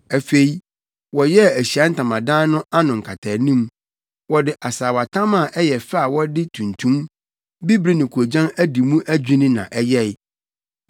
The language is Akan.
Afei, wɔyɛɛ Ahyiae Ntamadan no ano nkataanim. Wɔde asaawatam a ɛyɛ fɛ a wɔde tuntum, bibiri ne koogyan adi mu adwinni na ɛyɛe.